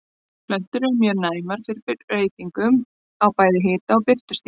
Plöntur eru mjög næmar fyrir breytingum á bæði hita- og birtustigi.